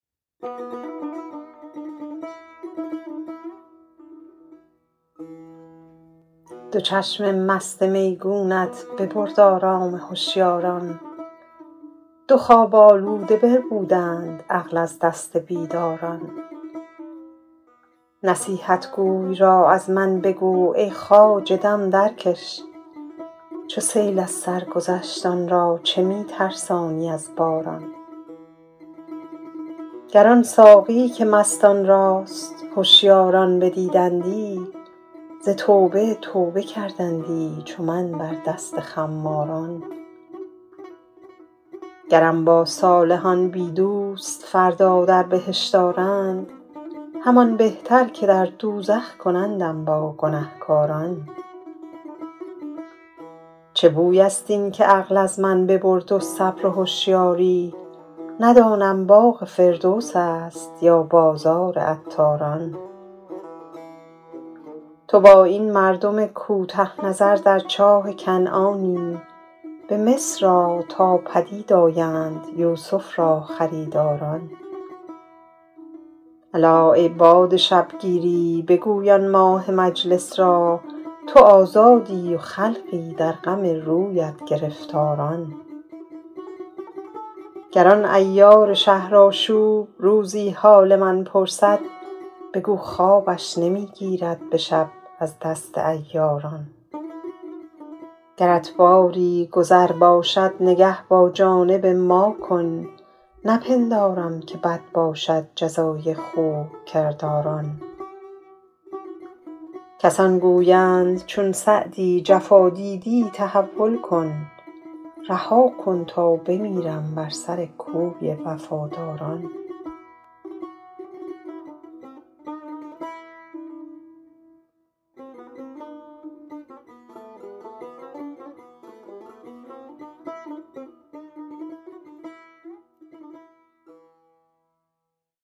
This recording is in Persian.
دو چشم مست میگونت ببرد آرام هشیاران دو خواب آلوده بربودند عقل از دست بیداران نصیحتگوی را از من بگو ای خواجه دم درکش چو سیل از سر گذشت آن را چه می ترسانی از باران گر آن ساقی که مستان راست هشیاران بدیدندی ز توبه توبه کردندی چو من بر دست خماران گرم با صالحان بی دوست فردا در بهشت آرند همان بهتر که در دوزخ کنندم با گنهکاران چه بوی است این که عقل از من ببرد و صبر و هشیاری ندانم باغ فردوس است یا بازار عطاران تو با این مردم کوته نظر در چاه کنعانی به مصر آ تا پدید آیند یوسف را خریداران الا ای باد شبگیری بگوی آن ماه مجلس را تو آزادی و خلقی در غم رویت گرفتاران گر آن عیار شهرآشوب روزی حال من پرسد بگو خوابش نمی گیرد به شب از دست عیاران گرت باری گذر باشد نگه با جانب ما کن نپندارم که بد باشد جزای خوب کرداران کسان گویند چون سعدی جفا دیدی تحول کن رها کن تا بمیرم بر سر کوی وفاداران